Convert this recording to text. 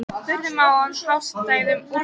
Verðum að ná hagstæðum úrslitum